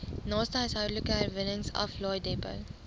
naaste huishoudelike herwinningsaflaaidepot